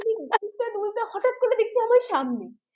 সামনে